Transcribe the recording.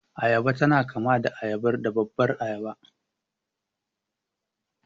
Agada tana kama da babbar ayaba.